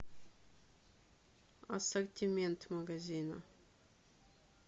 ассортимент магазина